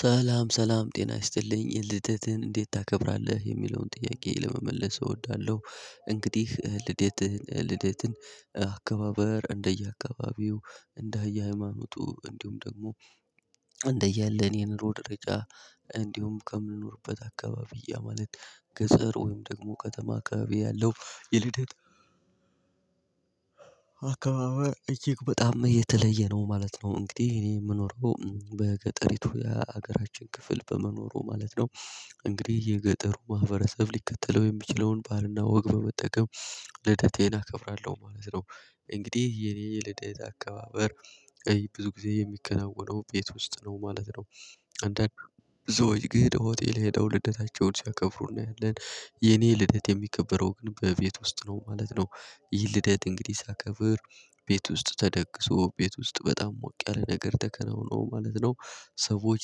ሰላም ሰላም ጤና ይስጥልኝ ልደትህን እንዴት ታከብራለህ የሚለውን ጥያቄ ለመመለስ እወዳለሁ። እንግዲህ ልደትህን ልደትን አካባበር እንደየ አካባቢው እንደየ ሃይማኖቱ እንዲሁም ደግሞ እንደየ ያለን የኑሮው ደረጃ እንዲሁም ከምንኖርበት አካባቢ ያ ማለት ገጠር ወይም ደግሞ ከተማ አከባቢ ያለው የልደት አከባበር እጅግ በጣም የተለየ ነው ማለት ነው። እንግዲህ እኔ የምኖረው በገጠሪቱ የሀገራችን ክፍል በመኖሩ ማለት ነው። እንግዲህ የገጠሩ ማህበረሰብ ሊከተለው የሚችለውን ባህልና ወግ በመጠቀም ልደቴን አከብራለሁ ማለት ነው። እንግዲህ የኔ የልደት አካባበር ብዙ ጊዜ የሚከናወነው ቤት ውስጥ ነው ማለት ነው። አንዳንድ ሰዎች ግድ ሆቴል ሄደው ልደታቸውን ሲያከብሩ እናያለን የኔ ልደት የሚከበረው ግን በቤት ውስጥ ነው ማለት ነው። ይህ ልደት እንግዲህ ሳከብር ቤት ውስጥ ተደግሶ ቤት ውስጥ በጣም ሞቅ ያለ ነገር ተከናውኖ ማለት ነው። ሰዎች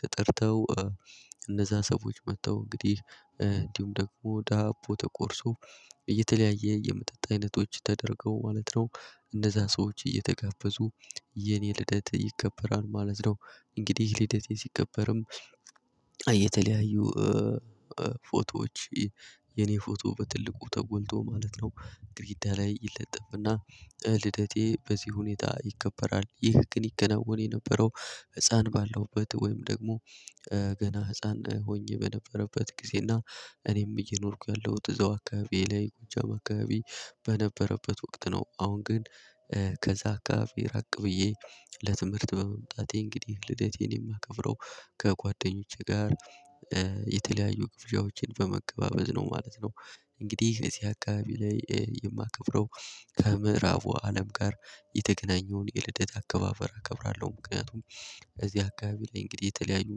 ተጠርተው እነዛ ሰዎች መጥተው እንግዲህ እንዲሁም ደግሞ ዳቦ ተቆርሶ እየተለያየ የመጠጥ አይነቶች ተደርገው ማለት ነው። እነዛ ሰዎች እየተጋበዙ የኔ ልደት ይከበራል ማለት ነው። እንግዲህ ልደቴ ሲከበርም የተለያዩ ፎቶዎች የኔ ፎቶ በትልቁ ተጎንቶ ማለት ነው። ግደግዳ ላይ ይለጠፍና ልደቴ በዚህ ሁኔታ ይከበራል ይህ ግን ይከናወን የነበረው ህፃን ባለውበት ወይም ደግሞ ገና ህፃን ሆኜ በነበረበት ጊዜና እኔም እየኖርኩ ያለው እዛው አካባቢዬ ላይ ጎጃም አካባቢ በነበረበት ወቅት ነው። አሁን ግን ከዛ አከባቢ ራቅ ብዬ ለትምህርት በመምጣቴ እንግዲህ ልደቴን የማከብረው ከጓደኞቼ ጋር የተለያዩ ግብዣዎችን በመቀባበል ነው ማለት ነው። እንግዲህ እዚህ አካባቢ ላይ የማከብረው ከምዕራቡ አለም ጋር የተገናኘውን የልደት አከባበር አከብራለሁ ምክንያቱም። እዚህ አካባቢ ላይ እንግዲህ የተለያዩ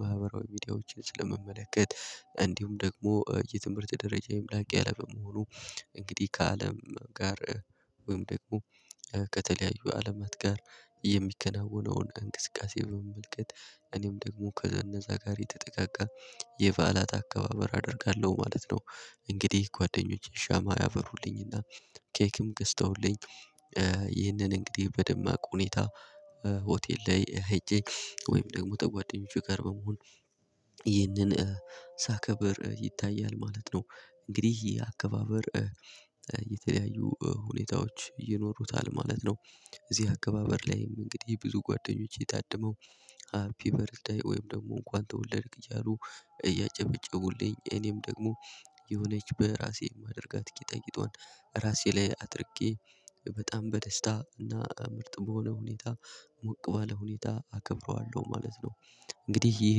ማህበራዊ ሚዲያዎችን ስለምመለከት እንዲሁም ደግሞ የትምህርት ደረጃዬም ላቅ ያለ በመሆኑ እንግዲህ ከአለም ጋር ወይም ደግሞ ከተለያዩ አለማት ጋር የሚከናወነውን እንቅስቃሴ በመመልከት እኔም ደግሞ ከነዛ ጋር የተጠጋጋ የበዓላት አከባበር አደርጋለሁ ማለት ነው። እንግዲህ ጓደኞቼ ሻማ ያበሩልኝና ኬክም ገዝተውልኝ ይህንን እንግዲህ በደማቅ ሁኔታ ሆቴል ላይ ሄጄ ወይም ደግሞ ተጓደኞቼ ጋር በመሆን ይህንን ሳከብር ይታያል ማለት ነው። እንግዲህ ይሄ አከባበር የተለያዩ ሁኔታዎች ይኖሩታል ማለት ነው። እዚህ አከባበር ላይም እንግዲህ ብዙ ጓደኞቼ ታድመው ሃፒ በርዝደይ ወይም ደግሞ እንኳን ተወለድክ እያሉ እያጨበጨቡልኝ እኔም ደግሞ የሆነች በራሴ የማደርጋት ጌጣጌጧን ራሴ ላይ አድርጌ በጣም በደስታ እና ምርጥ በሆነ ሁኔታ ሞቅ ባለ ሁኔታ አከብረዋለሁ ማለት ነው። እንግዲህ ይህ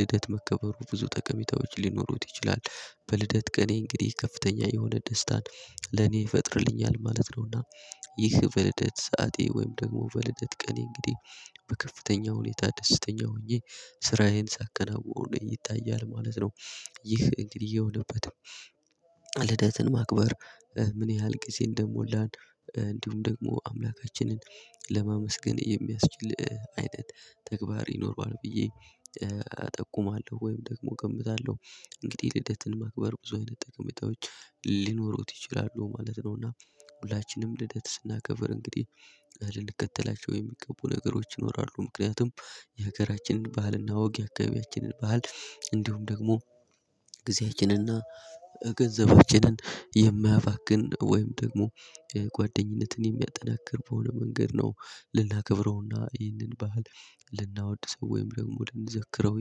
ልደት መከበሩ ብዙ ጠቀሜታዎች ሊኖሩት ይችላል በልደት ቀኔ እንግዲህ ከፍተኛ የሆነ ደስታን ለኔ ይፈጥርልኛል ማለት ነውና። ይህ በልደት ሰዓቴ ወይም ደግሞ በልደት ቀኔ እንግዲህ በከፍተኛ ሁኔታ ደስተኛ ሆኜ ስራዬን ሳከናውን ይታያል ማለት ነው። ይህ እንግዲህ የሆነበት ለደትን ማክበር ምን ያህል ጊዜ እንደሞላን እንዲሁም ደግሞ አምላካችንን ለማመስገን የሚያስችል አይነት ተግባር ይኖረዋል ብዬ አጠቁማለሁ ወይም ደግሞ እገምታለሁ። እንግዲህ ልደትን ማክበር ብዙ አይነት ጠቀሜታዎች ሊኖሩት ይችላሉ ማለት ነው እና። ሁላችንም ልደት ስናከብር እንግዲህ ልንከተላቸው የሚገቡ ነገሮች ይኖራሉ ምክንያቱም የሀገራችንን ባህልና ወግ የአከባቢያችንን ባህል እንዲሁም ደግሞ ጊዜያችንንና ገንዘባችንን የማያባክን ወይም ደግሞ ጓደኝነትን የሚያጠናክር በሆነ መንገድ ነው። ልናከብረውና ይህንን ባህል ልናወድሰው ወይም ደግሞ ልንዘክረው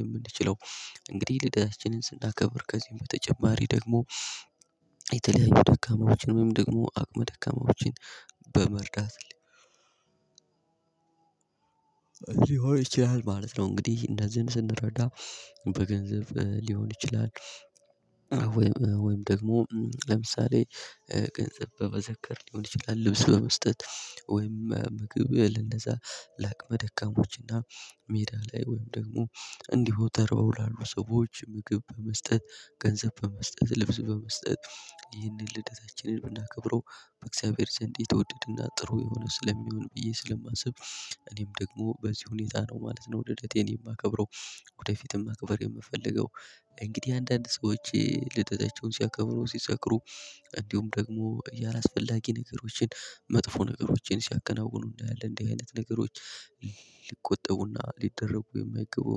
የምንችለው እንግዲህ ልደታችንን ስናከብር ከዚህ በተጨማሪ ደግሞ የተለያዩ ደካማዎችን ወይም ደግሞ አቅመ ደካማዎችን በመርዳት ሊሆን ይችላል ማለት ነው። እንግዲህ እንደዚህን ስንረዳ በገንዘብ ሊሆን ይችላል። ወይም ወይም ደግሞ ለምሳሌ ገንዘብ በዘከር ሊሆን ይችላል ልብስ በመስጠት ወይም ምግብ ለነዛ ላቅመ ደካሞች እና ሜዳ ላይ ወይም ደግሞ እንዲሁ ተርበው ላሉ ሰዎች ምግብ በመስጠት ገንዘብ በመስጠት ልብስ በመስጠት ይህንን ልደታችንን ብናከብረው በእግዚአብሔር ዘንድ የተወደድና ጥሩ የሆነ ስለሚሆን ብዬ ስለማስብ። እኔም ደግሞ በዚህ ሁኔታ ነው ማለት ነው ወደ ልደቴን የማከብረው። ወደፊትም ማክበር የምፈልገው። እንግዲህ አንዳንድ ሰዎች ልደታቸውን ሲያከብሩ ሲሰክሩ እንዲሁም ደግሞ አላስፈላጊ ነገሮችን መጥፎ ነገሮችን ሲያከናውኑ እንዳለ እንዲህ አይነት ነገሮች ሊቆጠቡና ሊደረጉ የማይገቡ